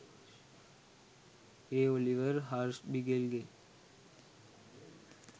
A Oliver හර්ෂ්බිගෙල්ගේ